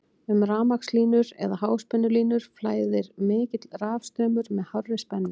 um rafmagnslínur eða háspennulínur flæðir mikill rafstraumur með hárri spennu